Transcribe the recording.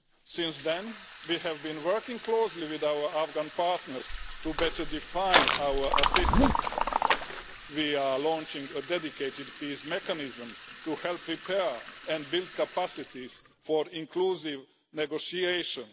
Since then, we have been working closely with our Afghan partners to better define our assistance. We are launching a dedicated peace mechanism to help repair and build capacities for inclusive negotiations.